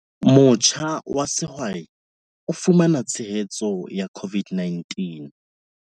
Motjha wa sehwai o fumana tshehetso ya COVID-19